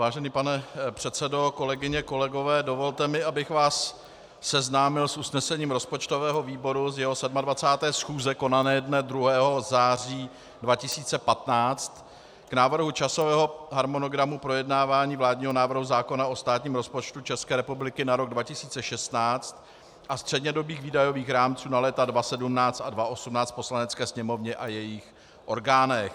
Vážený pane předsedo, kolegyně, kolegové, dovolte mi, abych vás seznámil s usnesením rozpočtového výboru z jeho 27. schůze konané dne 2. září 2015 k Návrhu časového harmonogramu projednávání vládního návrhu zákona o státním rozpočtu České republiky na rok 2016 a střednědobých výdajových rámců na léta 2017 a 2018 v Poslanecké sněmovně a jejích orgánech.